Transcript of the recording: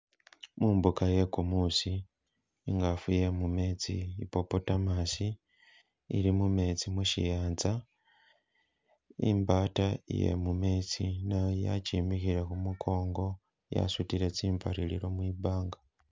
Mumbuka iye kumuusi, ingaafu iye mumeetsi, hippopotamus ili mumetsi mushiyanza, imbaata iye mumetsi, inawoyu yakimikhele khumukongo yasutile tsi mpaririro mwibanga.